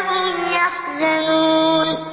هُمْ يَحْزَنُونَ